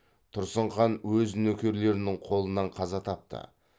тұрсын хан өз нөкерлерінің қолынан қаза тапты